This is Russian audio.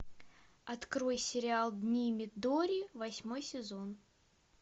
открой сериал дни мидори восьмой сезон